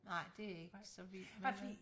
Nej det jeg ikke så vild med vel